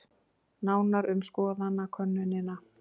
Nánar um skoðanakönnunina